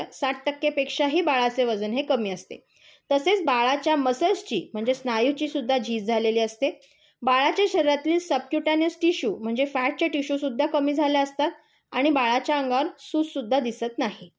साठ टक्के पेक्षाही बाळाचे वजन हे कमी असते. तसेच बाळाच्या मसल्सची स्नायूची सुद्धा झीज झालेली असते. बाळाच्या शरीरातील सबक्युटानस टिश्यू म्हणजे फ्याटचे टिश्यू सुद्धा कमी झालेले असतात. आणि बाळक्या अंगावर सूज सुद्धा दिसत नाही.